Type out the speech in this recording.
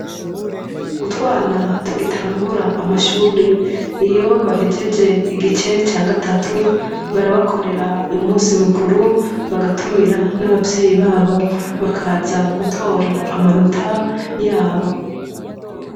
Utwana tugitangura amashure iyo bahejeje igice ca gatatu barabakorera umusi mukuru bagatumira n'abavyeyi babo bakaza gutora amanota yabo.